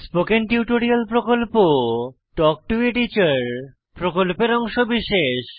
spoken tutorial talk to a teacher প্রকল্পের অংশবিশেষ